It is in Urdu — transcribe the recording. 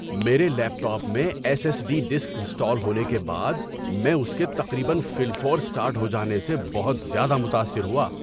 میرے لیپ ٹاپ میں S S D disk install ہونے کے بعد میں اس کے تقریباً فی الفور سٹارٹ ہو جانے سے بہت زیادہ متاثر ہوا۔